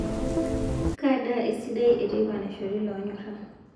kaa daa esidai eteipa naishori lonyora